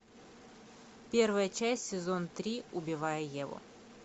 первая часть сезон три убивая еву